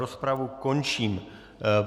Rozpravu končím.